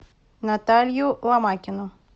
наталью ломакину